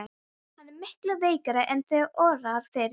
Hann er miklu veikari en þig órar fyrir.